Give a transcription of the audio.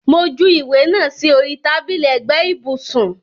Mo ju ìwé náà sì orí tábìlì ẹ̀gbẹ́ ibùsùn